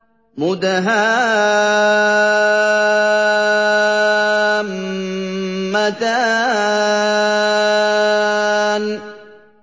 مُدْهَامَّتَانِ